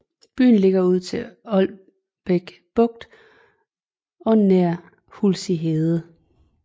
Byen ligger ud til Aalbæk Bugt og nær Hulsig Hede